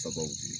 Sabu